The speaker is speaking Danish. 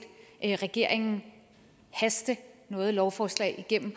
regeringen haste noget lovforslag igennem